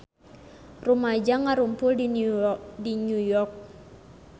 Rumaja ngarumpul di New York